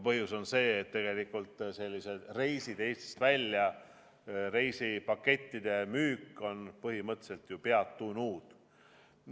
Põhjus on see, et tegelikult reise Eestist välja ei tehta, reisipakettide müük on põhimõtteliselt ju peatunud.